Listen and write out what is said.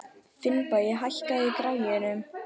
Finnbogi, hækkaðu í græjunum.